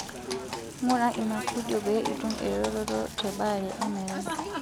Ngura ina fidio pee itum eretoto tebaare emerai.